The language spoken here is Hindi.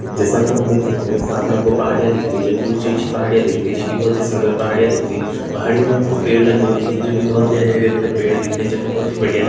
जैसा कि हम देख सकते है सामने हमको पहाड़ियाँ दिख रही जो कि ऊंची-ऊंची पहाड़ियाँ दिख रही जो कि बहोत ही सुंदर पहाड़ियाँ दिख रही पहाड़ियों में हमको पेड़ लगे हुए दिख रहे जो कि बहोत ही हरे- हरे भरे पेड़ दिख रहे जो कि बहोत ही बढ़िया लग--